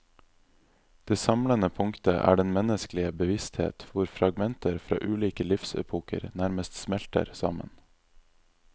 Det samlende punktet er den menneskelige bevissthet hvor fragmenter fra ulike livsepoker nærmest smelter sammen.